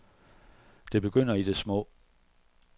Det begynder i det små.